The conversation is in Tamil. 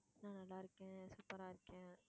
நான் நல்லா இருக்கேன் super ஆ இருக்கேன்.